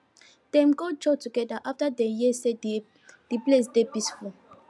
dem go church together after dem hear say di place dey peaceful